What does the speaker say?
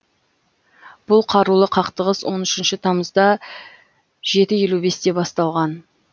бұл қарулы қақтығыс он үшінші тамызда жеті елу бесте басталған